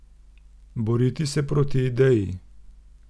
Boriti se proti ideji?